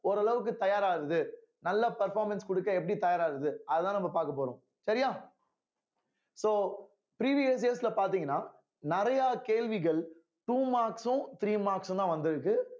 ஓரளவுக்கு தயாராகுது நல்ல performance கொடுக்க எப்படி தயாராகுது அதுதான் நம்ம பார்க்க போறோம் சரியா so previous years ல பார்த்தீங்கன்னா நிறைய கேள்விகள் two marks உம் three marks உம் தான் வந்து இருக்கு